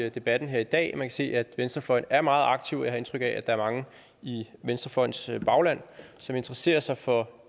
i debatten i dag man kan se at venstrefløjen er meget aktiv jeg har indtryk af at der er mange i venstrefløjens bagland som interesserer sig for